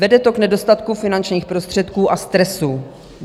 Vede to k nedostatku finančních prostředků a stresu.